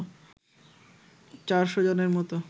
চারশো জনের মতো